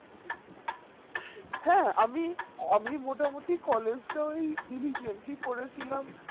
হ্যাঁ আমি আমি মোটামোটি collage টা ও diligently করেছিলাম